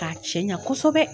K'a cɛɲa kosɛbɛ.